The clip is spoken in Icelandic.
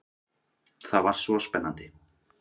Það var svo spennandi.